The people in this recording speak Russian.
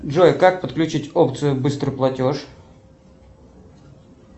джой как подключить опцию быстрый платеж